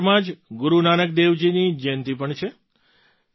નવેમ્બરમાં જ ગુરુ નાનક દેવજીની જંયતિ પણ છે